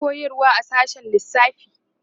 tana koyarwa a sashen lissafi